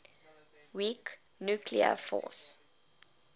weak nuclear force